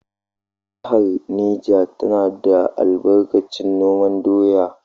Jihar Neja tana da albarkacin noman doya.